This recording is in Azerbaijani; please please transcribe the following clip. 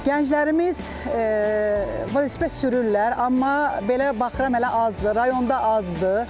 Gənclərimiz velosiped sürürlər, amma belə baxıram hələ azdır, rayonda azdır.